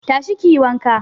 Tashi kiyi wanka